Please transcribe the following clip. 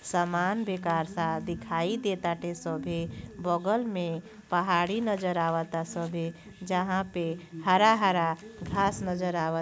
समान बेकार सा दिखाई देटाते सभे बगल में पहाड़ी नजर आवता सभे जहां पे हरा-हरा घांस नजर आवत --